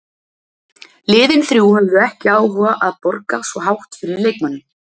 Liðin þrjú höfðu ekki áhuga að borga svo hátt fyrir leikmanninn.